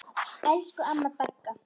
Elsku amma Dagga.